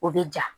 O bɛ ja